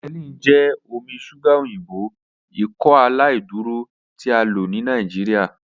Benylin jẹ omi ṣuga oyinbo Ikọaláìdúró ti a lo ni Nigeria.